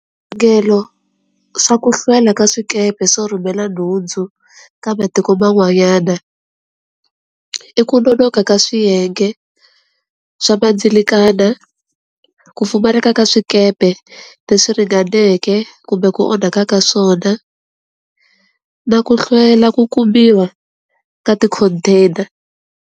Swa ku hlwela ka swikepe swo rhumela nhundzu, ka va tiko man'wanyana. I ku nonoka ka swiyenge, swa vandzelekana, ku pfumaleka ka swikepe le swi ringaneke kumbe ku onhaka ka swona, na ku hlwela ku kumiwa ka ti-container.